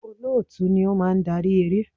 Olóòtú ni ó máa ń darí eré.